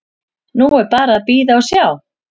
Nú er bara að bíða og sjá.